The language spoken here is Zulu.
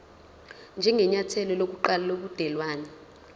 njengenyathelo lokuqala lobudelwane